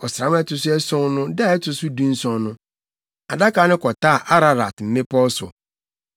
Ɔsram a ɛto so ason no da a ɛto so dunson so, Adaka no kɔtaa Ararat mmepɔw so.